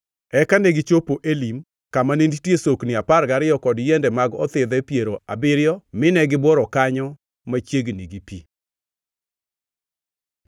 Eka negichopo Elim, kama ne nitie sokni apar gariyo kod yiende mag othidhe piero abiriyo mine gibworo kanyo machiegni gi pi.